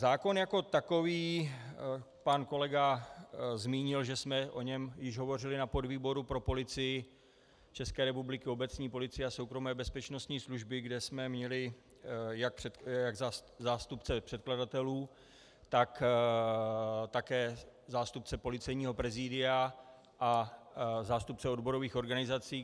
Zákon jako takový - pan kolega zmínil, že jsme o něm již hovořili na podvýboru pro Policii České republiky, obecní policii a soukromé bezpečnostní služby, kde jsme měli jak zástupce předkladatelů, tak také zástupce Policejního prezidia a zástupce odborových organizací.